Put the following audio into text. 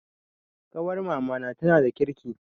Ƙawar mamana tana da kirki